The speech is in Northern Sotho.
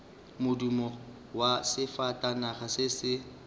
modumo wa sefatanaga se se